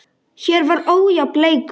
Hér var ójafn leikur.